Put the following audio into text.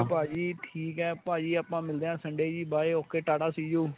ਭਾਜੀ ਠੀਕ ਏ ਭਾਜੀ ਆਪਾਂ ਮਿਲਦੇ ਆਂ Sunday ਜੀ by okay ਟਾਟਾ see you.